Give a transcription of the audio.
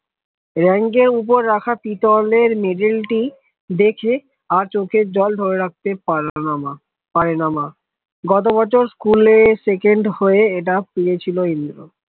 রাঙ্গা উপর রাখা পিতলের medal টি দেখে আর চোখের জল ধরে রাখতে পারেলোনা মা পারে না মা গতবছর স্কুলে second হয়েছে এটা পেয়েছিল ইন্দ্র